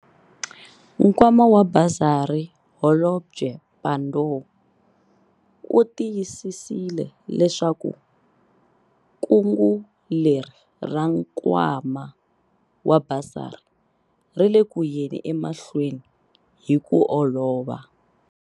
Nkwama wa basari Holobye Pandor u tiyisisile leswaku kungu leri ra nkwama wa basari ri le ku yeni emahlweni hi ku olova.